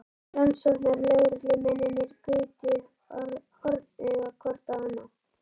Rannsóknarlögreglumennirnir gutu hornauga hvort á annað.